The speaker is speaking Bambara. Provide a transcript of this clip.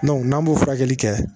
n'an b'o furakɛli kɛ